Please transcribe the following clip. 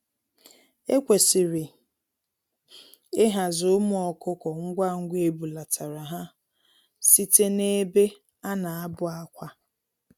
Ekwesịrị ihazi ụmụ ọkụkọ ngwá ngwá ebulatara ha site n'ebe ana abụ-àkwà.